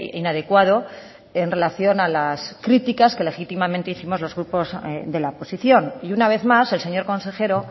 inadecuado en relación a las críticas que legítimamente hicimos los grupos de la oposición y una vez más el señor consejero